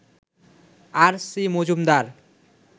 আর, C, Majumdar